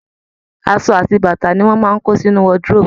Àṣọ àti bàtà ni wọ́n máa ń kó sínu wardrobe